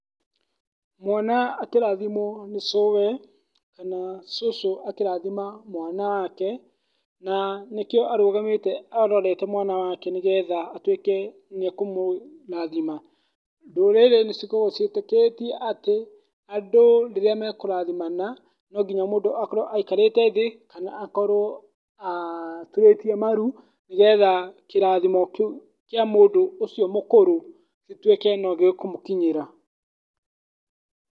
Mwana akĩrathimwo nĩ cũũwe kana cũcũ akĩrathima mwana wake na nĩkĩo arũgamĩte arorete mwana wake nĩ getha atuĩke nĩ ekũmũrathima. Ndũrĩrĩ nĩ cikoragwo ciĩtĩkĩtie andũ rĩrĩa mekũrathimana, no nginya mũndũ akorwo aikarĩte thĩ kana akorwo aturĩtie maru nĩ getha kĩrathimo kĩu kĩa mũndũ ũcio mũkũrũ gĩtuĩke no gĩkũmũkinyĩra.